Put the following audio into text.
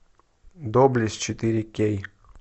доблесть четыре кей